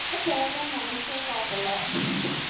நான் போவேன்னு நினச்சே பாக்கல